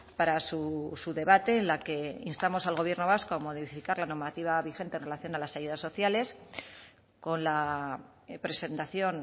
para su debate en la que instamos al gobierno vasco a modificar la normativa vigente en relación a las ayudas sociales con la presentación